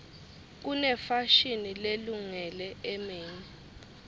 kunefashini lelungele emini